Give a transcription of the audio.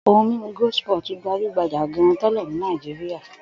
Ohun-mímu Goldspot gbajú-gbajà gan-an tẹ́lẹ̀ ní Nàìjíríà.